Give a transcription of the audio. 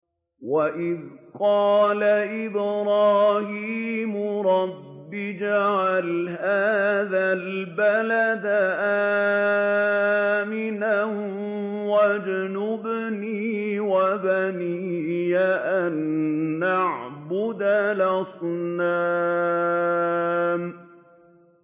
وَإِذْ قَالَ إِبْرَاهِيمُ رَبِّ اجْعَلْ هَٰذَا الْبَلَدَ آمِنًا وَاجْنُبْنِي وَبَنِيَّ أَن نَّعْبُدَ الْأَصْنَامَ